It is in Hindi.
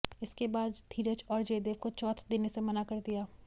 इसके बाद धीरज और जयदेव को चौथ देने से मना कर दिया